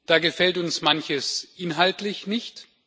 Da gefällt uns manches inhaltlich nicht.